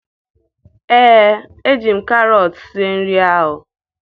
Ee, eji m karọt sie nri ahụ